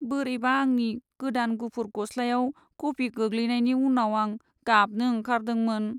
बोरैबा आंनि गोदान गुफुर गस्लायाव कफि गोग्लैनायानि उनाव आं गाबनो ओंखारदोंमोन।